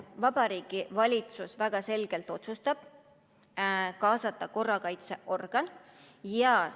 Vabariigi Valitsus väga selgelt otsustab kaasata korrakaitseorgani.